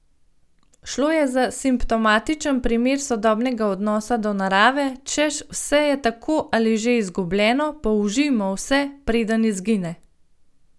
Šlo je za simptomatičen primer sodobnega odnosa do narave, češ vse je tako ali že izgubljeno, použijmo vse, preden izgine!